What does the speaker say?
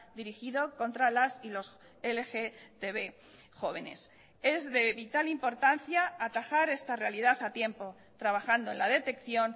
dirigido contra las y los lgtb jóvenes es de vital importancia atajar esta realidad a tiempo trabajando en la detección